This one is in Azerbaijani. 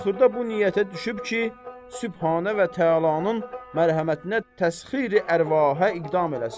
Axırda bu niyyətə düşüb ki, Sübhanə və təalanın mərhəmətinə təsxir-i ərvahə iqdam eləsin.